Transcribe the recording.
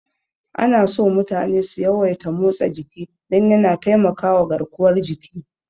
Anaso mutane su yawaita motsa jiki don yana taimakama garkuwar jiki.